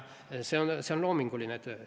See on loominguline töö.